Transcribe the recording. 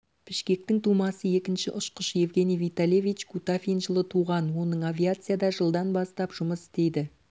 бішкектің тумасы екінші ұшқыш евгений витальевич кутафин жылы туған оның авиацияда жылдан бастап жұмыс істейді